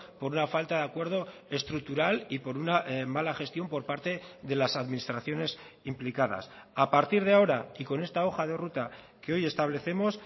por una falta de acuerdo estructural y por una mala gestión por parte de las administraciones implicadas a partir de ahora y con esta hoja de ruta que hoy establecemos